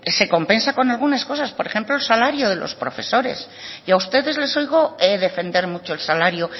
se compensa con alguna cosa por ejemplo el salario de los profesores y a ustedes les oigo defender mucho el salario